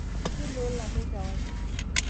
miloolo ake kewarie